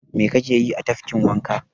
Mai ka ke yi a tafkin wanka?